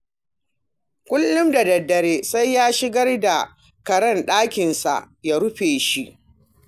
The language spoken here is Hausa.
Kullum da daddare sai ya shigar da karen ɗakinsa ya rufe shi